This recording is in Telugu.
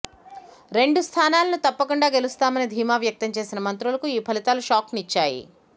రెండు స్థానాలను తప్పకుండా గెలుస్తామని ధీమా వ్యక్తం చేసిన మంత్రులకు ఈ ఫలితాలు షాక్ను ఇచ్చాయి